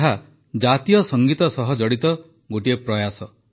ଏହା ଜାତୀୟ ସଙ୍ଗୀତ ସହ ଜଡ଼ିତ ଗୋଟିଏ ପ୍ରୟାସ